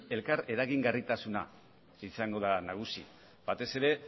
elkar eragingarritasuna izango da nagusi batez ere